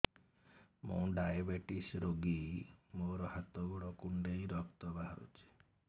ମୁ ଡାଏବେଟିସ ରୋଗୀ ମୋର ହାତ ଗୋଡ଼ କୁଣ୍ଡାଇ ରକ୍ତ ବାହାରୁଚି